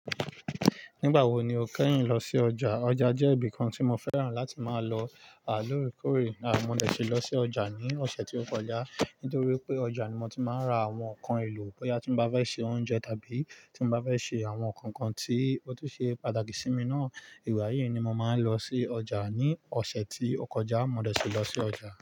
Nígbà wo ni o kẹ́yin lọ sí ọjà? Ọjà jẹ́ ibi kan tí mo fẹ́ràn láti máa lọ à lóòrekòró. À mo dẹ̀ síí lọ sí ọjà ní ọ̀sẹ̀ tí ó kọjá, nítorí pé ọjà ni mo ti máa ń ra àwọn nǹkan èlò bóyá tí mo bá fẹ́ ṣe oúnjẹ tàbí tí mo bá fẹ́ ṣe àwọn nǹkan tí ó tún ṣe pàtàkì sí mi náà. Ìwà yìí ni mo máa ń lọ sí ọjà ní ọ̀sẹ̀ tí ó kọjá. Mọ dẹ̀ síí lọ sí ọjà.